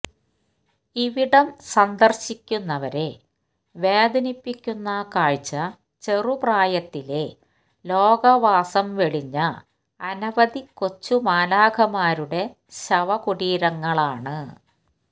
ഇവിടം സന്ദർശിക്കുന്നവരെ വേദനിപ്പിക്കുന്ന കാഴ്ച ചെറുപ്രായത്തിലെ ലോകവാസം വെടിഞ്ഞ അനവധി കൊച്ചുമാലാഖമാരുടെ ശവകുടീരങ്ങളാണ്